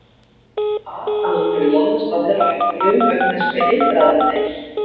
ar að hún hafi laðast að herra Hættulegum vegna þess hve eitraður hann er.